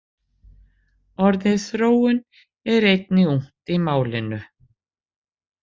Orðið þróun er einnig ungt í málinu.